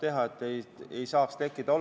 Selliseid olukordi ei tohi tekkida.